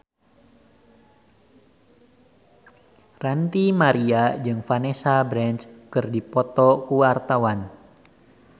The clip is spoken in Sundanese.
Ranty Maria jeung Vanessa Branch keur dipoto ku wartawan